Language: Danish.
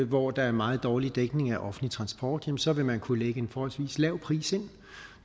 hvor der er meget dårlig dækning af offentlig transport ja så vil man kunne lægge en forholdsvis lav pris ind